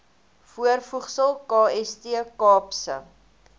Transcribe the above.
voorvoegsel kst kaapse